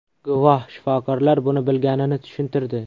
Guvoh shifokorlar buni bilganini tushuntirdi.